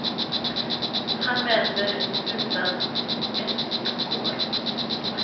Han vänder utan ett ord och går.